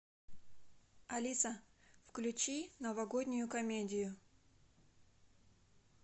алиса включи новогоднюю комедию